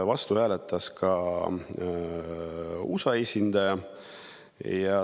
Vastu hääletas ka USA esindaja.